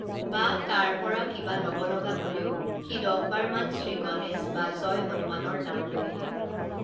বা তাৰ পৰা কিবা লব লগা হলেও সি দহবাৰ মান শ্ৰীগণেশ বা জয় হনুমানৰ নাম লৈহে